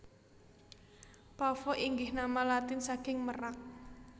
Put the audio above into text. Pavo inggih nama Latin saking merak